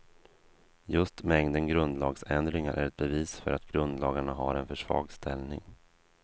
Just mängden grundlagsändringar är ett bevis för att grundlagarna har en för svag ställning.